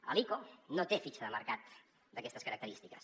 l’ico no té fitxa de mercat d’aquestes característiques